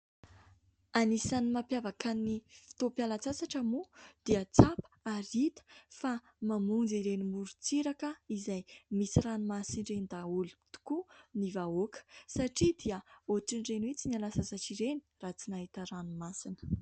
Anisany mampiavaka ny fotoam-pialatsasatra moa dia tsapa ary hita fa mamonjy ireny morontsiraka izay misy ranomasina ireny daholo tokoa ny vahoaka, satria dia ohatr'ireny hoe tsy niala sasatra ireny raha tsy nahita ranomasina.